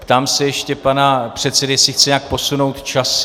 Ptám se ještě pana předsedy, jestli chce nějak posunout časy.